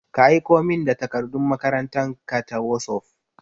Ka aiko min da takardun makarantan ka ta wosof!